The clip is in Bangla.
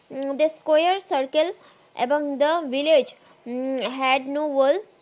কুই সার্কেল এবং থে ভিল্লাগে হাত নু ভাল